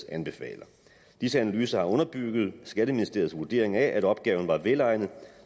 anbefaler disse analyser har underbygget skatteministeriets vurdering af at opgaven var velegnet